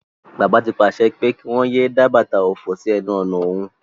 Bàbá ti pàse pé kí wón yéé dá bàtà òfò sí enu ònà òhun.